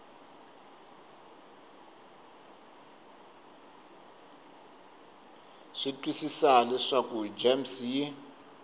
swi twisisa leswaku gems yi